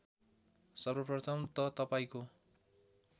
सर्वप्रथम त तपाईँको